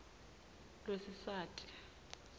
lwesiswati